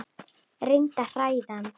Reyndi að hræða hann.